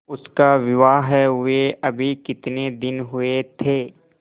उसका विवाह हुए अभी कितने दिन हुए थे